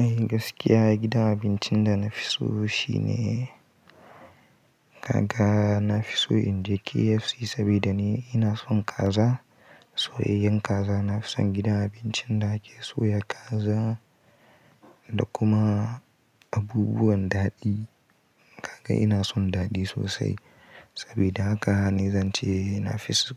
Eh gaskiya gidan abincin da na fi so shine kaga na fi so in je KFC sabida ni ina son kaza. Soyayyen kaza na fi son gidan abincin da ke soya kaza da kuma abubuwan daɗi. Kaga ina son daɗi sosai sabida haka ni zance na fi so